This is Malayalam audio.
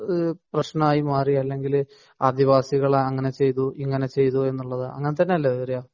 പ്രശ്നമായി മാറി അല്ലെങ്കിൽ ആദിവാസികളെ അങ്ങനെ ചെയ്തു ഇങ്ങനെ ചെയ്തു അങ്ങനെത്തന്നെയല്ലേ വരിക